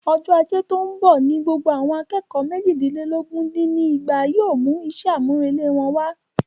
Ọjọ́ ajé tí óún bọ̀ ni gbogbo àwọn akẹ́kọ̀ọ́ méjìdínlógún dín ní ẹgbàá yóò mú iṣẹ́ àmúrelé wọn wá.